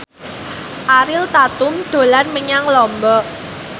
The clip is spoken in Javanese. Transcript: Ariel Tatum dolan menyang Lombok